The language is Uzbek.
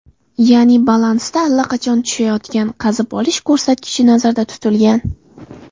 Ya’ni, balansda allaqachon tushayotgan qazib olish ko‘rsatkichi nazarda tutilgan.